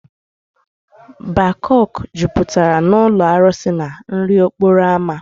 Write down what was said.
Bakok jupụtara na ụlọ arụsị na nri okporo ámá.